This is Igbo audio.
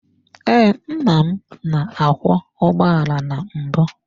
Ee, nna m na-akwọ ụgbọala na mbụ.